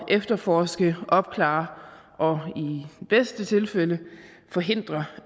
efterforske opklare og i bedste tilfælde forhindre